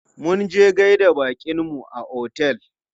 Munje gaida baƙinmu a otel.